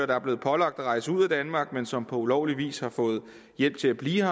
der er blevet pålagt at rejse ud af danmark men som på ulovlig vis har fået hjælp til at blive